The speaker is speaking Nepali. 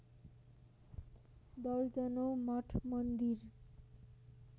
दर्जनौँ मठ मन्दिर